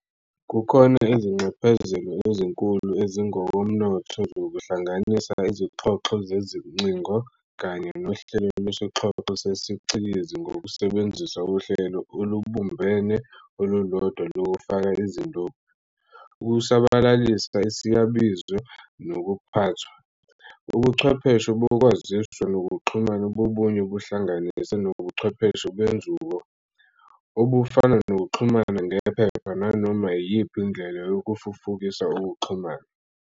Kukhona izinxephezelo ezinkulu ezingokomnotho zokuhlangaisa izoxhoxho zezincingo kanye nohlelo lwesixhoxho sesiCikizi ngokusebenzisa uhlelo olubumbene olulodwa lokufaka izindophi, ukusabalalisa isiyabizo, nokuphathwa. Ubuchwepheshe bokwaziswa nokuxhumana bubuye buhlanganise nobuchwepheshe benzuko, obufana nokuxhumana ngephepha, nanoma iyiphi indlela yokufufukisa ukuxhumana.